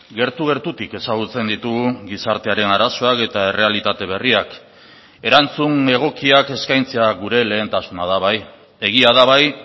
gertu gertutik ezagutzen ditugu gizartearen arazoak eta errealitate berriak erantzun egokiak eskaintzea gure lehentasuna da bai egia da bai